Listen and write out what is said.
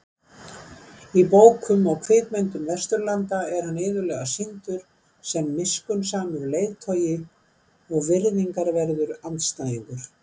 Í bókum og kvikmyndum Vesturlanda er hann iðulega sýndur sem miskunnsamur leiðtogi og virðingarverður andstæðingur.